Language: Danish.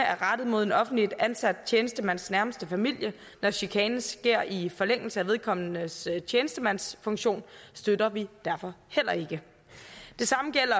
er rettet mod en offentligt ansat tjenestemands nærmeste familie når chikanen sker i forlængelse af vedkommendes tjenestemandsfunktion støtter vi derfor heller ikke det samme gælder